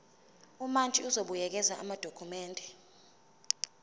umantshi uzobuyekeza amadokhumende